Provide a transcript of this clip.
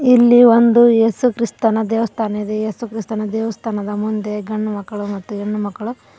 ಇಲ್ಲಿ ಒಂದು ಏಸುಕ್ರಿಸ್ತನ ದೇವಸ್ಥಾನ ಇದೆ ಯೇಸು ಕ್ರಿಸ್ತನ ದೇವಸ್ಥಾನದ ಮುಂದೆ ಗಂಡು ಮಕ್ಕಳು ಮತ್ತು ಹೆಣ್ಣು ಮಕ್ಕಳು--